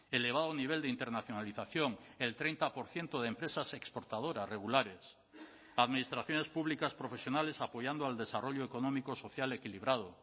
elevado nivel de internacionalización el treinta por ciento de empresas exportadoras regulares administraciones públicas profesionales apoyando al desarrollo económico social equilibrado